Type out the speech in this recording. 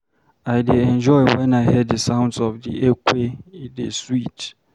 I dey enjoy wen I hear the sounds of the ekwe, e dey sweet.